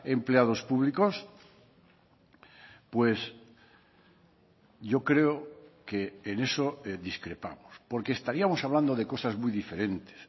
empleados públicos pues yo creo que en eso discrepamos porque estaríamos hablando de cosas muy diferentes